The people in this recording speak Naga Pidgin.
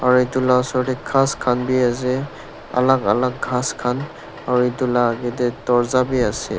aru etu lah oshor teh ghass khan bhi ase alag alag ghass khan aru etu lah aage teh dorja bhi ase.